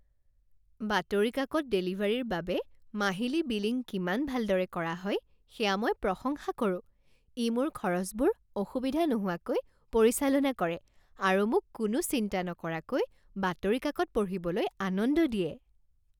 বাতৰি কাকত ডেলিভাৰীৰ বাবে মাহিলী বিলিং কিমান ভালদৰে কৰা হয় সেয়া মই প্ৰশংসা কৰোঁ। ই মোৰ খৰচবোৰ অসুবিধা নোহোৱাকৈ পৰিচালনা কৰে আৰু মোক কোনো চিন্তা নকৰাকৈ বাতৰি কাকত পঢ়িবলৈ আনন্দ দিয়ে।